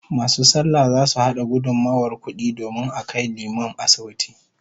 Masu sallah zasu hada gudummawar kudi domin a kai liman asibiti